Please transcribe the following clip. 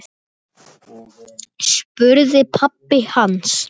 spurði pabbi hans.